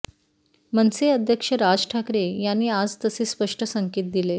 मनसे अध्यक्ष राज ठाकरे यांनी आज तसे स्पष्ट संकेत दिले